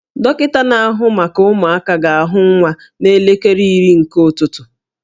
Dọkịta na-ahụ maka ụmụaka ga-ahụ nwa n'elekere iri nke ụtụtụ